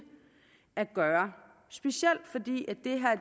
at gøre specielt fordi